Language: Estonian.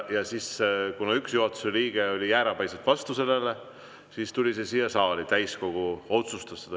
Kuna üks juhatuse liige oli jäärapäiselt selle vastu, siis tuli see siia saali ja täiskogu otsustas seda.